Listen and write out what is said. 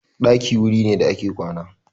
Ɗakin wuri ne da ake kwana.